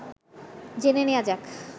জেনে নেয়া যাক